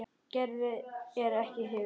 Gerður er ekki hrifin.